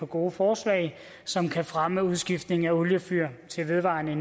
gode forslag som kan fremme udskiftning af oliefyr til vedvarende